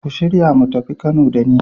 Ku shirya mu tafi Kano da ni.